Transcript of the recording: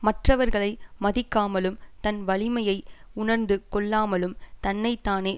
மற்றவர்களை மதிக்காமலும் தன் வலிமையை உணர்ந்து கொள்ளாமலும் தன்னை தானே